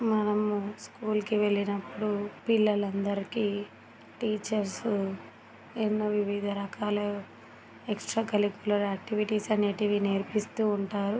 మనము స్కూల్ కి వెళ్ళినప్పుడు పిల్లలందరికీ టీచర్స్ ఎన్నో వివిధ రకాల ఎక్స్ట్రా కాలిక్యులర్ యాక్టివిటీస్ అనేటివి నేర్పిస్తూ ఉంటారు .